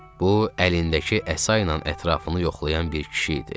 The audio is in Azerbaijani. Bu əlindəki əsa ilə ətrafını yoxlayan bir kişi idi.